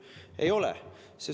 Ei ole.